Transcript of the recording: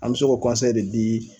An mɛ se k'o de di